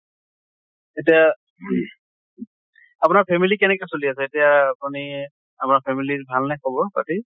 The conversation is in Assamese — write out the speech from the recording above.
এতিয়া ing আপোনাৰ family কেনেকে চলি আছে এতিয়া আপুনি আমাৰ family ৰ ভাল নে খবৰ পাতি?